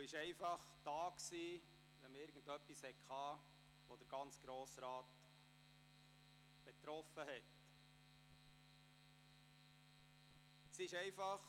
Hofer war einfach da, wenn man ein Anliegen hatte, das den gesamten Grossen Rat betraf.